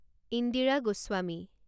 Indira Goswami